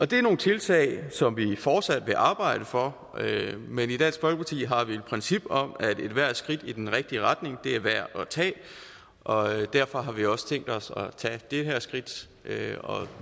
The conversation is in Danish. det er nogle tiltag som vi fortsat vil arbejde for men i dansk folkeparti har vi et princip om at ethvert skridt i den rigtige retning er værd at tage og derfor har vi også tænkt os at tage det her skridt og